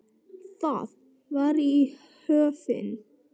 Það var í Höfn.